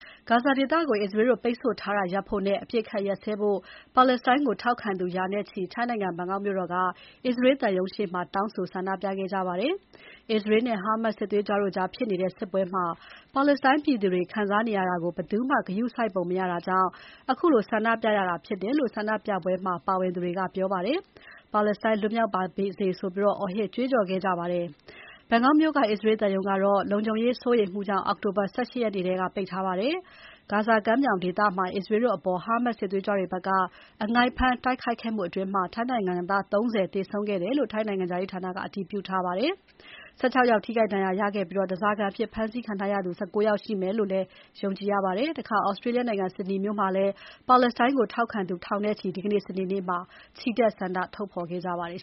ဂါဇာဒေသကို အစ္စရေးတို့ပိတ်ဆို့ထားတာရပ်ဖို့နဲ့ အပစ်အခတ်ရပ်စဲဖို့ ပါလက်စတိုင်းကိုထောက်ခံသူ ရာနဲ့ချီ ထိုင်းနိုင်ငံ ဘန်ကောက်မြို့တော်က အစ္စရေးသံရုံးရှေ့မှာ တောင်းဆို ဆန္ဒပြခဲ့ကြပါတယ်။ အစ္စရေးနဲ့ Hamas စစ်သွေးကြွတို့ကြားဖြစ်နေတဲ့ စစ်ပွဲမှာ ပါလက်စတိုင်းပြည်သူတွေ ခံစားနေရတာကို ဘယ်သူကမှ ဂရုစိုက်ပုံမရတာကြောင့် ခုလိုဆန္ဒပြရတာဖြစ်တယ်လို့ ဆန္ဒပြပွဲမှာ ပါဝင်သူတွေက ပြောပါတယ်။ ပါလက်စတိုင်းလွတ်မြောက်ပါစေဆိုပြီးလည်း အော်ဟစ် ကြွေးကြော်ခဲ့ကြပါတယ်။ ဘန်ကောက်မြို့က အစ္စရေးသံရုံးကတော့ လုံခြုံရေးစိုးရိမ်မှုကြောင့် အောက်တိုဘာ ၁၈ ရက်နေ့ထဲက ပိတ်ထားပါတယ်။ ဂါဇာကမ်းမြောင်ဒေသမှာ အစ္စရေးတို့အပေါ် Hamas စစ်သွေးကြွတွေဘက်က အငိုက်ဖမ်းတိုက်ခိုက်ခဲ့ မှုအတွင်း ထိုင်းနိုင်ငံသား ၃၀ သေဆုံးခဲ့တယ်လို့ ထိုင်းနိုင်ငံခြားရေးဌာနကအတည်ပြုထားပါတယ်။ ၁၆ ယောက် ထိခိုက်ဒဏ်ရာ ရခဲ့ပြီး ဓါးစာခံအဖြစ် ဖမ်းဆီးခံထားရသူ ၁၉ ယောက် ရှိမယ်လို့ ယုံကြည်ရပါတယ်။ Australia နိုင်ငံ Sydney မြို့မှာလည်း ပါလက်စတိုင်းကို ထောက်ခံသူ ထောင်နဲ့ချီ ဒီနေ့ စနေနေ့မှာ ချီတက် ဆန္ဒထုတ်ဖော်ခဲ့ကြပါတယ်